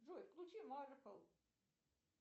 джой включи марпл